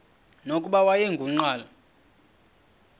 nokuba wayengu nqal